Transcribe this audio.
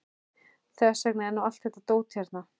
Þess vegna er nú allt þetta dót hérna.